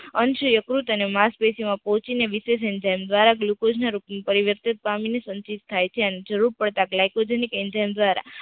અંશ યકૃત અને માસ પેશી માં પહોંચીને વિશેષ ઇન્ઝાઈમ દ્વારા ગ્લુકોઝ રૂપ નું પરિવર્તિત પામીને સંચિત થાય છે, જરૂરત પડતાં ગ્લાયકોજેનિક દ્વારા